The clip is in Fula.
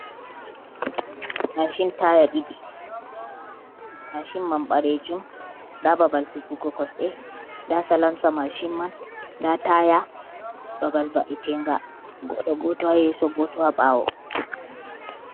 Maacin taaya ɗiɗi, maacin man ɓaleejum, ndaa babal sigugo kosɗe, ndaa salansa maacin man, ndaa taaya, babal va’itega, goɗɗo gooto haa yeeso, gooto haa ɓaawo.